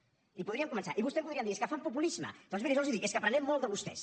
i podríem començar i vostè em podrien dir és que fa populisme doncs miri jo els dic és que n’aprenem molt de vostès